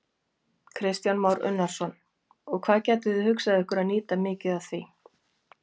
Kristján Már Unnarsson: Og hvað gætuð þið hugsað ykkur að nýta mikið af því?